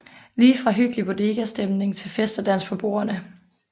Lige fra hyggelig bodegastemning til fest og dans på bordene